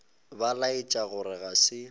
ba laetša gore ga se